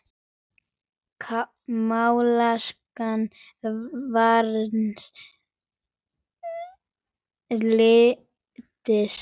Málsókn Varins lands